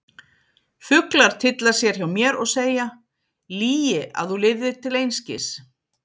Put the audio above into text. Fuglar tylla sér hjá mér og segja: lygi að þú lifðir til einskis.